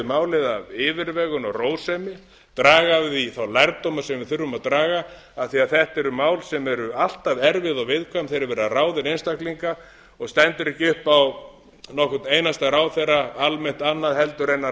málið af yfirvegun og rósemi draga af svo þá lærdóma sem við þurfum að draga af því að þetta eru mál sem eru alltaf erfið og viðkvæm þegar er verið að ráða inn einstaklinga og stendur ekki upp á nokkurn einasta ráðherra almennt annað en að